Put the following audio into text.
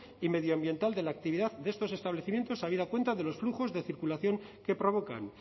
y medioambiental de la actividad de estos establecimientos habida cuenta de los flujos de circulación que provocan